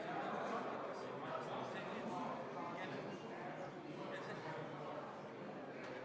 Teatavasti osaleb Prantsusmaa üksus alates 2017. aastast Eestis paiknevas NATO lahingugrupis, mis on Kaitseväe 1. jalaväebrigaadi koosseisus.